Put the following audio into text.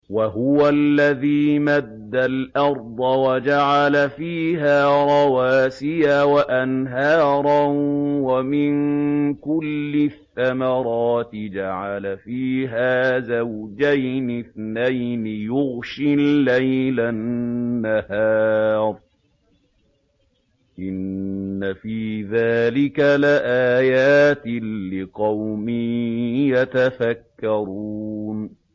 وَهُوَ الَّذِي مَدَّ الْأَرْضَ وَجَعَلَ فِيهَا رَوَاسِيَ وَأَنْهَارًا ۖ وَمِن كُلِّ الثَّمَرَاتِ جَعَلَ فِيهَا زَوْجَيْنِ اثْنَيْنِ ۖ يُغْشِي اللَّيْلَ النَّهَارَ ۚ إِنَّ فِي ذَٰلِكَ لَآيَاتٍ لِّقَوْمٍ يَتَفَكَّرُونَ